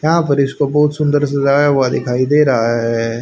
यहां पर इसको बहोत सुन्दर सजाया हुआ दिखाई दे रहा है।